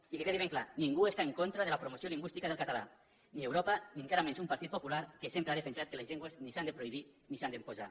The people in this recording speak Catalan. i que quedi ben clar ningú està en contra de la promoció lingüística del català ni europa ni encara menys un partit popular que sempre ha defensat que les llengües ni s’han de prohibir ni s’han d’imposar